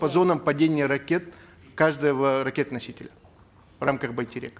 по зонам падения ракет каждого ракетоносителя в рамках байтерек